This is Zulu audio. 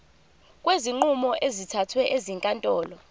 kwezinqumo ezithathwe ezinkantolo